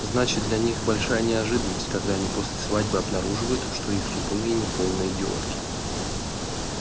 значит для них большая неожиданность когда они после свадьбы обнаруживают что их супруги не полные идиотки